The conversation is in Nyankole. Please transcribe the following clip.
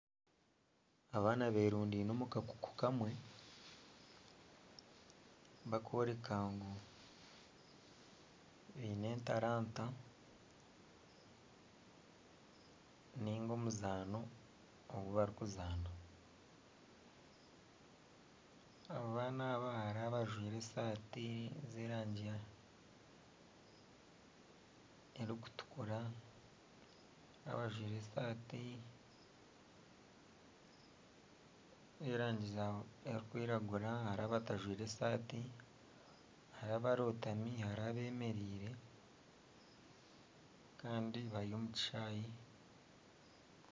Abaana beerundaine omu kakuku kamwe barikworeka ngu baine entaranta, ninga omuzaano ogu barikuzaana, abaana hariho abajwire esaati z'erangi erangi erikutukura hariho abajwire esaati y'erangi erikwiragura hariho abatajwire esaati hariho abarootami hariho abeemereire kandi bari omu kishaayi